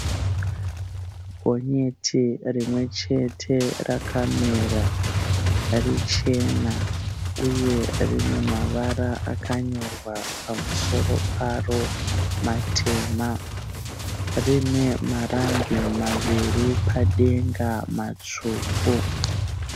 Gonyeti rimwe chete rakamira richena uye rine mavara akanyorwa pamusoro paro matema. Rine marambi maviri padenga matsvuku.